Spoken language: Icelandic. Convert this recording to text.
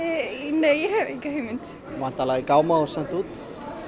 nei ég hef ekki hugmynd væntanlega í gáma og sent út